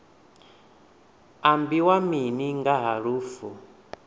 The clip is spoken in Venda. ambiwa mini nga ha lufu